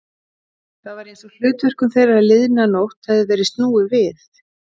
Það var einsog hlutverkum þeirra liðna nótt hefði verið snúið við.